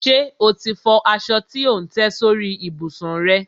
Ṣe o ti fọ aṣọ tí ò ń tẹ́ sórí ìbùsùn rẹ?